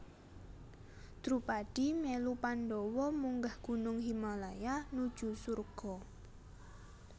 Drupadi melu Pandhawa munggah gunung Himalaya nuju surga